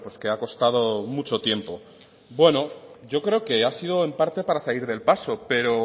que ha costado mucho tiempo bueno yo creo que ha sido en parte para salir del paso pero